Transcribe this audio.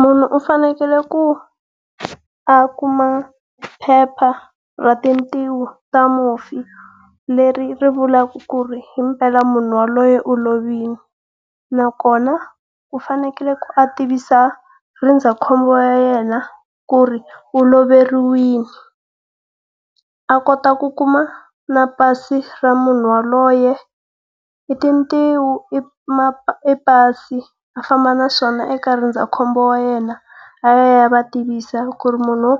Munhu u fanekele ku a kuma phepha ra tintiho ta mufi leri ri vulaka ku ri impela munhu yaloye u lovile. Nakona u fanekele ku a tivisa ndzindzakhombo wa yena ku ri u loveriwile, a kota ku kuma na pasi ra munhu yaloye. I tintiho, i i pasi, a famba naswona eka ndzindzakhombo wa yena a ya a ya va tivisa ku ri munhu